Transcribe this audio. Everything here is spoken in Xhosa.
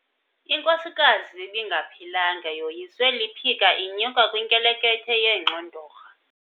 Inkosikazi ibingaphilanga yoyiswe liphika inyuka kwinkelekethe yeengxondorha.